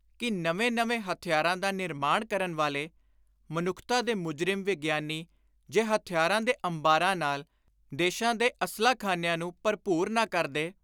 ਕਿ ਨਵੇਂ ਨਵੇਂ ਹਥਿਆਰਾਂ ਦਾ ਨਿਰਮਾਣ ਕਰਨ ਵਾਲੇ, ਮਨੁੱਖਤਾ ਦੇ ਮੁਜਰਿਮ ਵਿਗਿਆਨੀ ਜੇ ਹਥਿਆਰਾਂ ਦੇ ਅੰਬਾਰਾਂ ਨਾਲ ਦੇਸ਼ਾਂ ਦੇ ਅਸਲਾਖ਼ਾਨਿਆਂ ਨੂੰ ਭਰਪੂਰ ਨਾ ਕਰਦੇ